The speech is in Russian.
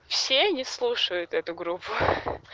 все не слушают эту группу